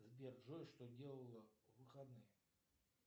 сбер джой что делала в выходные